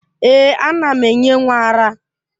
Èè, ana m enye nwa ara.